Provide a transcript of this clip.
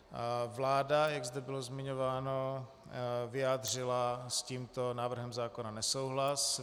Vláda, jak zde bylo zmiňováno, vyjádřila s tímto návrhem zákona nesouhlas.